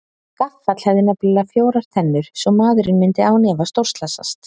Gaffall hefði nefnilega fjórar tennur svo maðurinn myndi án efa stórslasast.